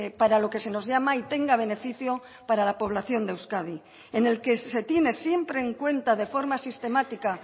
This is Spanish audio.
para lo que se nos llama y tenga beneficio para la población de euskadi en el que se tiene siempre en cuenta de forma sistemática